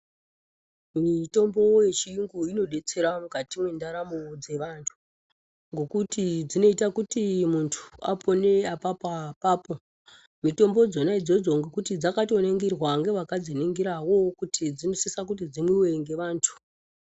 Mitombo yechiyungu inobetsera mukati mendaramo dzevantu. Ngekuti dzinoita kuti muntu apone apapoa-papo, mitombo dzona idzodzo ngekuti dzakatoningirwa ngevakadziningiravo kuti dzinosisa kuti dzimwive ngevantu.